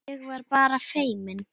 Ég var bara feimin!